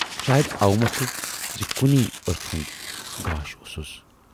شاید اوٕمۅکھٕ زِ کُنۍ ٲچھ ہُند گاش اوسُس۔